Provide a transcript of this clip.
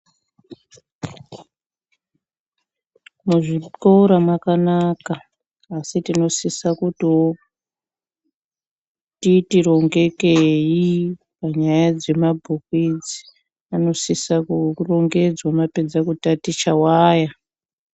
Mu zvikora makanaka asi tinosisa kutiwo titi rongekei panyaya dze mabhuku idzi anosisa ku rongedzwa mapedza kutaticha waya.